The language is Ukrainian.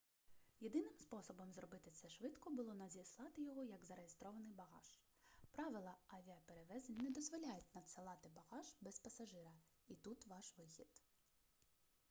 єдиним способом зробити це швидко було надіслати його як зареєстрований багаж правила авіаперевезень не дозволяють надсилати багаж без пасажира і тут ваш вихід